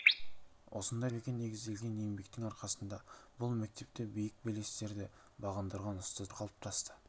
осындай тәрбиеге негізделген еңбектің арқасында бұл мектепте биік белестерді бағындырған ұстаздар қалыптасты